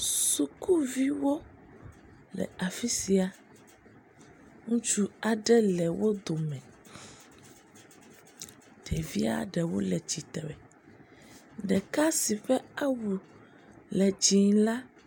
sukuviwo le afisia ŋutsu aɖe le wó dome ɖevia ɖewo le tsitre ɖeka si ƒe awu le dzĩ la